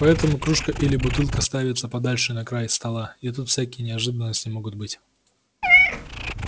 поэтому кружка или бутылка ставится подальше на край стола и тут всякие неожиданности могут быть